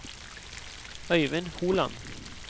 Øivind Holand